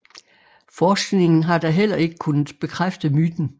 Forskningen har da heller ikke kunnet bekræfte myten